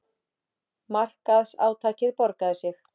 Markaðsátakið borgaði sig